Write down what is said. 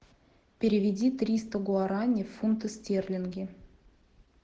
переведи триста гуарани в фунты стерлинги